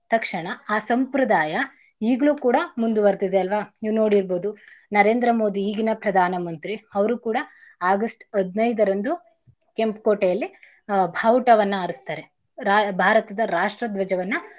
ತಕ್ಷಣ ಆ ಸಂಪ್ರದಾಯ ಇಗ್ಲೂ ಕೂಡ ಮುಂದುವರ್ದಿದೆ ಅಲ್ವಾ ನೀವು ನೋಡಿರ್ಬೋದು ನರೇಂದ್ರ ಮೋದಿ ಈಗಿನ ಪ್ರಧಾನ ಮಂತ್ರಿ ಅವ್ರೂ ಕೂಡ August ಹದ್ನೈದರಂದು ಕೆಂಪು ಕೋಟೆಯಲ್ಲಿ ಭಾವುಟವನ್ನ ಆರ್ಸ್ತಾರೆ ರಾ~ ಭಾರತದ ರಾಷ್ಟ್ರ ಧ್ವಜವನ್ನ.